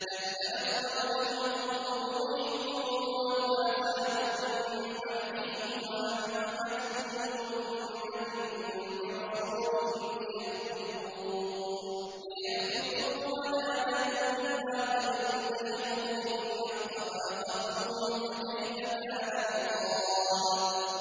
كَذَّبَتْ قَبْلَهُمْ قَوْمُ نُوحٍ وَالْأَحْزَابُ مِن بَعْدِهِمْ ۖ وَهَمَّتْ كُلُّ أُمَّةٍ بِرَسُولِهِمْ لِيَأْخُذُوهُ ۖ وَجَادَلُوا بِالْبَاطِلِ لِيُدْحِضُوا بِهِ الْحَقَّ فَأَخَذْتُهُمْ ۖ فَكَيْفَ كَانَ عِقَابِ